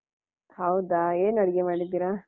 ಹೌದಾ ಏನ್ ಅಡಿಗೆ ಮಾಡಿದ್ದೀರಾ?